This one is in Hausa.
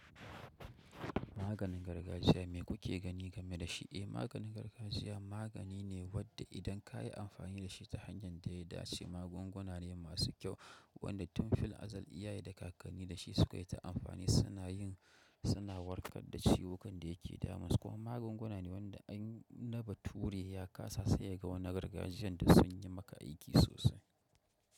Maganin gargajiya me kuke gani game da shi? Eh, maganin gargajiya magani ne wanda idan ka yi amfani da shi ta hanyar da ya dace, magunguna ne masu kyau wanda tun fil azal iyaye da kakanni da shi suka yi ta amfani. Suna warkar da ciwukan da ke damunsu. Kuma magunguna ne waɗanda in na bature ya kasa sai ya ga wani gargajiyan da sun yi maka aiki sosai.